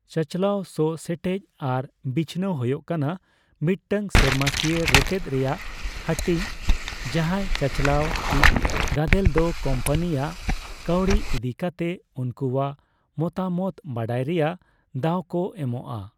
ᱪᱟᱪᱟᱞᱟᱣ ᱥᱚᱜᱼᱥᱮᱴᱮᱡ ᱟᱨ ᱵᱤᱪᱷᱱᱟᱹᱣ ᱦᱳᱭᱳᱜ ᱠᱟᱱᱟ ᱢᱤᱫᱴᱟᱝ ᱥᱮᱨᱢᱟᱠᱤᱭᱟᱹ ᱨᱮᱛᱮᱫ ᱨᱮᱭᱟᱜ ᱦᱟᱹᱴᱤᱧ ᱡᱟᱸᱦᱟᱭ ᱪᱟᱪᱟᱞᱟᱣ ᱤᱪ ᱜᱟᱫᱮᱞ ᱫᱚ ᱠᱳᱢᱯᱟᱱᱤ ᱟᱜ ᱠᱟᱣᱰᱤ ᱤᱫᱤ ᱠᱟᱛᱮ ᱩᱱᱠᱩᱣᱟᱜ ᱢᱚᱛᱟᱢᱚᱛ ᱵᱟᱰᱟᱭ ᱨᱮᱭᱟᱜ ᱫᱟᱣ ᱠᱚ ᱮᱢᱚᱜᱼᱟ ᱾